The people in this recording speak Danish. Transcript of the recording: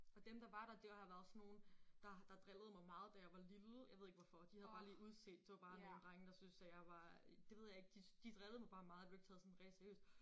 Og dem der var der det har været sådan nogle der der drillede mig meget da jeg var lille jeg ved ikke hvorfor de havde bare lige udset det var bare nogle drenge der syntes at jeg var det ved jeg ikke de de drillede mig bare meget blev ikke taget sådan rigtig seriøst